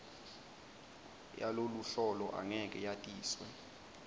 yaloluhlolo angeke yatiswe